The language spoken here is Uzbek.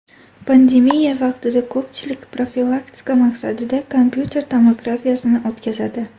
Pandemiya vaqtida ko‘pchilik profilaktika maqsadida kompyuter tomografiyasini o‘tkazadi.